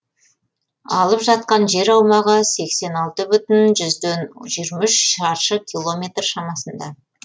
алып жатқан жер аумағы сексен алты бүтін жүзден жиырма үш шаршы километр шамасында